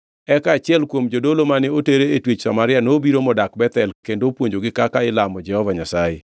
Eka achiel kuom jodolo mane oter twech Samaria nobiro modak Bethel kendo opuonjogi kaka ilamo Jehova Nyasaye.